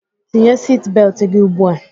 Tinye siti beltụ gị ugbu a!